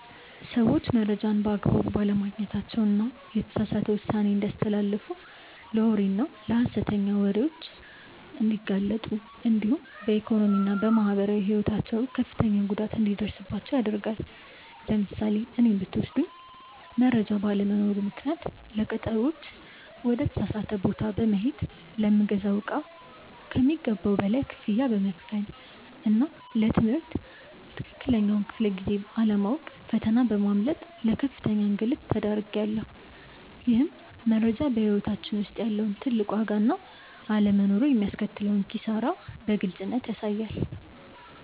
ሰዎች መረጃን በአግባቡ ባለማግኘታቸው የተሳሳተ ውሳኔ እንዲያስተላልፉ ለወሬና ለሐሰተኛ ወሬዎች እንዲጋለጡ እንዲሁም በኢኮኖሚና በማህበራዊ ሕይወታቸው ከፍተኛ ጉዳት እንዲደርስባቸው ያደርጋል። ለምሳሌ እኔን ብትወስዱኝ መረጃ ባለመኖሩ ምክንያት ለቀጠሮዎች ወደ ተሳሳተ ቦታ በመሄድ፣ ለምገዛው እቃ ከሚገባው በላይ ክፍያ በመክፈልና ለ ትምህርት ትክክለኛውን ክፍለ-ጊዜ አለማወቅ ፈተና በማምለጥ ለከፍተኛ እንግልት ተዳርጌያለሁ። ይህም መረጃ በሕይወታችን ውስጥ ያለውን ትልቅ ዋጋና አለመኖሩ የሚያስከትለውን ኪሳራ በግልጽ ያሳያል።